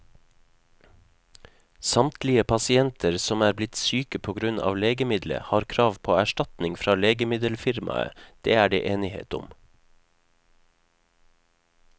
Samtlige pasienter som er blitt syke på grunn av legemiddelet, har krav på erstatning fra legemiddelfirmaet, det er det enighet om.